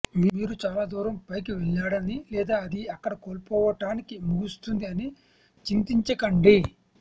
మీరు చాలా దూరం పైకి వెళ్ళాడని లేదా అది అక్కడ కోల్పోవటానికి ముగుస్తుంది అని చింతించకండి